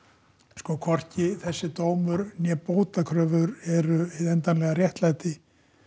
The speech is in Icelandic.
sko hvorki þessi dómur né bótakröfur eru hið endanlega réttlæti